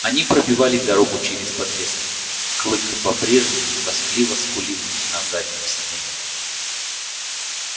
они пробивали дорогу через подлесок клык по-прежнему тоскливо скулил на заднем сиденье